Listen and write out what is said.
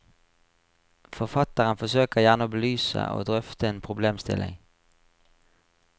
Forfatteren forsøker gjerne å belyse og drøfte en problemstilling.